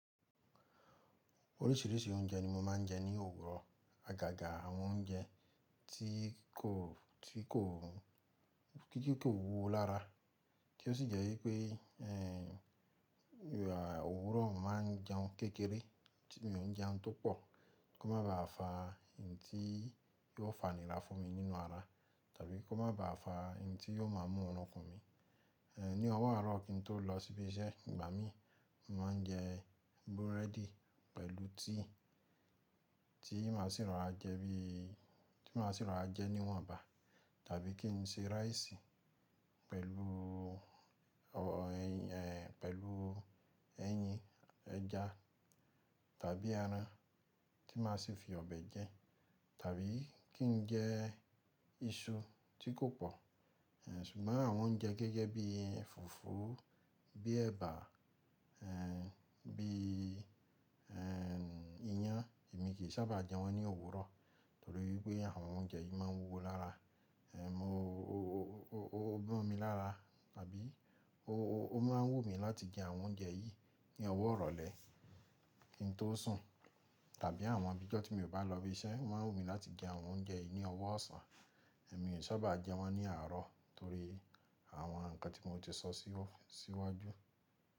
Oríṣìíríṣìí oúnjẹ ni mo máa ń jẹ ní òwúrọ̀. Àgàgà àwọn oúnjẹ tí kò, tí kò, tì kò wúwo lára. Tí ó sì jẹ́ wípé, ehn, òwúrọ̀ máa ń jẹun kékeré. Mi ò ń jẹun tó pọ̀ kí ó má ba à fa hin tí yóò fanira fún mi nínú ara, tàbí kí ó má ba à fa hin tí yóò má mú oorun kún mi. Ehn, ní ọwọ àárọ̀ kín tó lọ síbi iṣẹ́, ìgbà mí, mo máa ń jẹ búrẹ́dì pẹ̀lú tíì tí màá sì rorà jẹ bií, tí màá sì rora jẹ níwọ̀nba. Tàbí kí n se ráìsì pẹ̀lú, ọ, ẹyìn, ehn, pẹ̀lú ẹyin, ẹja tàbí ẹran tí màá sì fi ọbẹ̀ jẹ. Tàbí kí n jẹ iṣu tí kò pọ̀. Ehn, ṣùgbọ́n àwọn oúnjẹ gẹ́gẹ́ bí fùfú, bí ẹ̀bà, ehn, bí, ehn, iyán, èmi kì í sábà jẹ wọ́n ní òwúrọ̀. Torí wípé àwọn oúnjẹ yìí má ń wúwo lára. Ehn, mo, o, o, ó mọmi lára, tàbí ó, ó, ó máa ń wù mí láti jẹ àwọn oúnjẹ yìí ní ọwọ́ ìrọ̀lẹ́ kín tó sùn. Tàbí àwọn ibíjọ́ tí mi ò bá lọ ibi iṣẹ́, ó máa ń wù mí láti jẹ àwọn oúnjẹ yìí ní ọwọ́ ọ̀sán. Èmì í sábà jẹ wọ́n ní àárọ̀ torí àwọn nǹkan tí mo ti sọ síwájú.